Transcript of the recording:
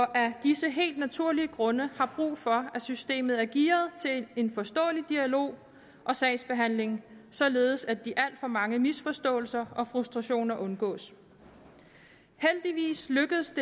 af disse helt naturlige grunde har brug for at systemet er gearet til en forståelig dialog og sagsbehandling således at de alt for mange misforståelser og frustrationer undgås heldigvis lykkes